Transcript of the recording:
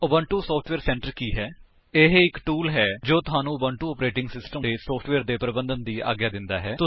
Ubuntu software centre ਕੀ ਹੈ160 ਇਹ ਇੱਕ ਟੂਲ ਹੈ ਜੋ ਤੁਹਾਨੂੰ ਉਬੁੰਟੂ ਆਪਰੇਟਿੰਗ ਸਿਸਟਮ ਉੱਤੇ ਸੋਫਟਵੇਅਰ ਦੇ ਪਰਬੰਧਨ ਦੀ ਆਗਿਆ ਦਿੰਦਾ ਹੈ